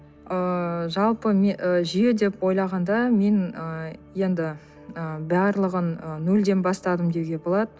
ыыы жалпы ы жүйе деп ойлағанда мен ыыы енді ы барлығын ы нөлден бастадым деуге болады